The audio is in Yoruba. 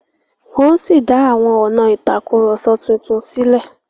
wón sí dá àwọn ọnà Tàkùrọ̀sọ títún sílè.